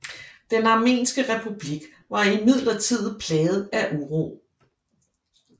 Den armenske republik var imidlertid plaget af uro